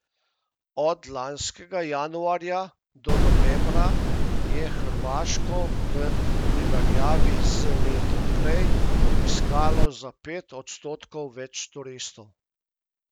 Od lanskega januarja do novembra je Hrvaško v primerjavi z letom prej obiskalo za pet odstotkov več turistov.